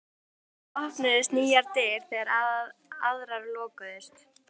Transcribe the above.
Alltaf opnuðust nýjar dyr þegar aðrar lokuðust.